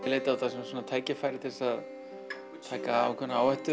leit á þetta sem tækifæri til að taka ákveðna áhættu